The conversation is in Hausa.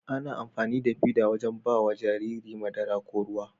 Ana amfanida fida wajan bawa Jariri madara ko ruwa